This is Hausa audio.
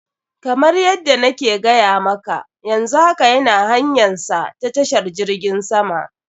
Kamar yadda na ke gaya maka, yanzu haka yana hanyansa na tashar jirgin sama.